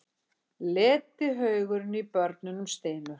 Letihaugurinn í börunum stynur.